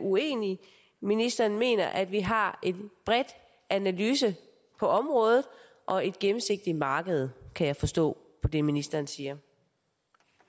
uenig ministeren mener at vi har en bred analyse på området og et gennemsigtigt marked kan jeg forstå på det ministeren siger